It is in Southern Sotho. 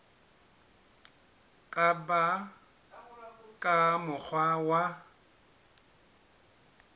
ka ba ka mokgwa wa